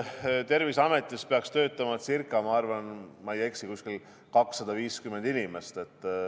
Terviseametis peaks töötama, kui ma ei eksi, ca 250 inimest.